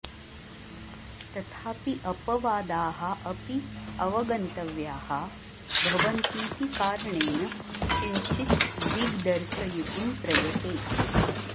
तथापि अपवादाः अपि अवगन्तव्याः भवन्तीति कारणेन किञ्चित् दिग्दर्शयितुं प्रयते